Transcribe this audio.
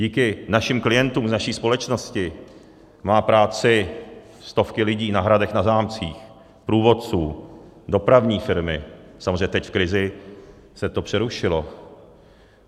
Díky našim klientům z naší společnosti mají práci stovky lidí na hradech, na zámcích, průvodci, dopravní firmy, samozřejmě teď v krizi se to přerušilo.